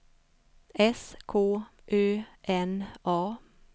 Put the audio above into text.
S K Ö N A